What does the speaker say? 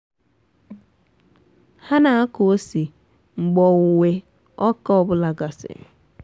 ha na-akụ ose mgbe owuwe ọka ọ bụla gasịrị.